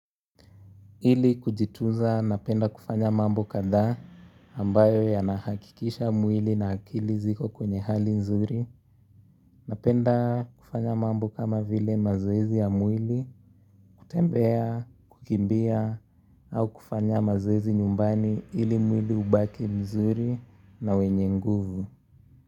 Ili kujitunza napenda kufanya mambo kadhaa ambayo yanahakikisha mwili na akili ziko kwenye hali mzuri. Napenda kufanya mambo kama vile mazoezi ya mwili, kutembea, kukimbia, au kufanya mazoezi nyumbani ili mwili hubaki mzuri na wenye nguvu.